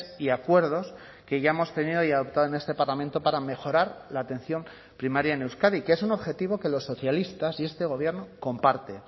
y acuerdos que ya hemos tenido y adoptado en este parlamento para mejorar la atención primaria en euskadi que es un objetivo que los socialistas y este gobierno comparte